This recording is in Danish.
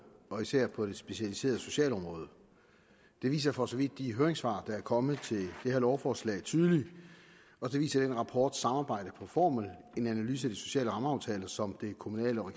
og især på det specialiserede socialområde det viser for så vidt de høringssvar der er kommet til det her lovforslag tydeligt og det viser den rapport samarbejde på formel en analyse af de sociale rammeaftaler som det kommunale og